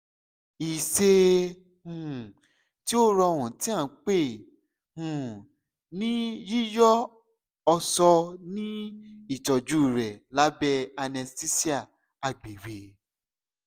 iṣẹ um ti o rọrun ti a npe um ni yiyọ ọṣọ ni itọju rẹ labẹ anesthesia agbegbe